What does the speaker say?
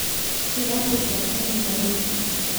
Iratũ ciake nĩ ndarũkũ